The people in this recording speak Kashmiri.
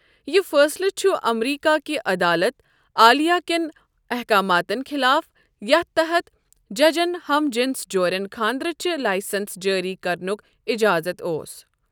یہِ فٲصلہٕ چھ امریكہ كہِ عدالت عالیہ كین احكاماتن خلاف، یتھ تحت ججَن ہم جنس جورٮ۪ن خانٛدرٕچہِ لایسنس جٲری کرنک اجازت اوس ۔